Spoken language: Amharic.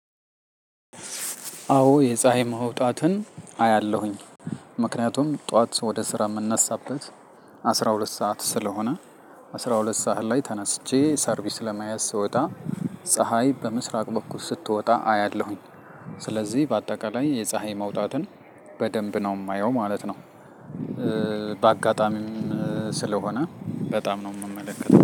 አዎ የፀሀይ መውጣትን አያለሁኝ። ምክንያቱም ጠዋት ወደ ስራ የምነሳበት አስራ ሁለት ሰዓት ስለሆነ። አስራ ሁለት ሰዓት ላይ ተነስቼ ሰርቪስ ለመያዝ ስወጣ። ፀሀይ በምስራቅ በኩል ስትወጣ አያለሁኝ። ስለዚህ በአጠቃላይ የፀሀይ መውጣትን በደንብ ነው የማየው ማለት ነው። በአጋጣሚም ስለሆነ በጣም ነው የምመለከተው